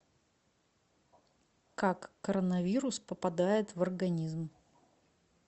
как коронавирус попадает в организм